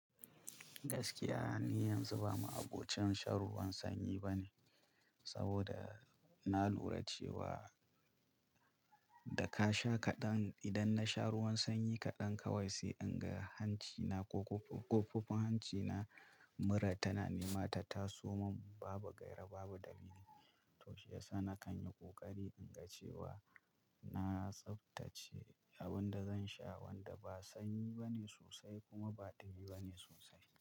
Gaskiya, ni yanzu ba ma abocin shan ruwan sanyi bane saboda na lura cewa da ka sha kaɗan idan na sha ruwan sanyi kaɗan kawai sai in ga hanci na ko ƙofofin hanci na mura tana nema ta taso man babu gaira babu dalili. Toh shiyasa nakanyi kokari inga cewa na tsaftace abinda zan sha wanda ba sanyi bane sosai kuma ba dumi bane sosai.